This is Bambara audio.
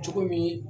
Cogo min